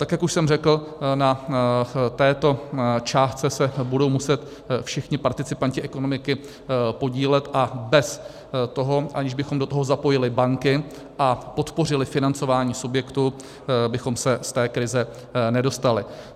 Tak jak už jsem řekl, na této částce se budou muset všichni participanti ekonomiky podílet a bez toho, že bychom do toho zapojili banky a podpořili financování subjektů, bychom se z té krize nedostali.